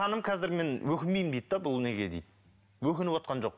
қазір мен өкінбеймін дейді де бұл неге дейді өкініп отырған жоқ